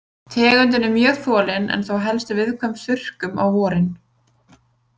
Tegundin er mjög þolin en þó helst viðkvæm þurrkum á vorin.